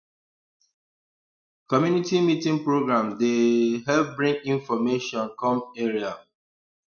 community meeting program dey um help bring information come area um